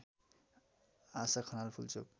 Asha Khanal Pulchowk